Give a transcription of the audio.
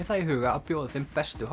það í huga að bjóða þeim bestu